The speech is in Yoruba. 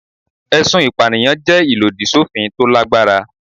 Ẹ̀sùn ìpànìyàn jẹ́ ìlòdì sófin tó lágbára.